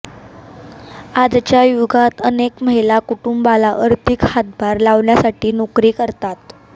आजच्या युगात अनेक महिला कुटुंबाला आर्थिक हातभार लावण्यासाठी नोकरी करतात